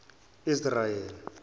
israel